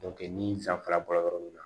ni san fila bɔra yɔrɔ min na